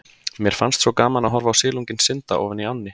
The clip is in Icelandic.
Mér fannst svo gaman að horfa á silunginn synda ofan í ánni.